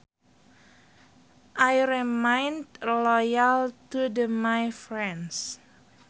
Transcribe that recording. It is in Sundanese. I remain loyal to the my friends